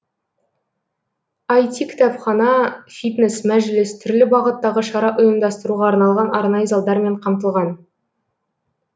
іт кітапхана фитнес мәжіліс түрлі бағыттағы шара ұйымдастыруға арналған арнайы залдармен қамтылған